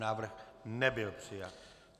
Návrh nebyl přijat.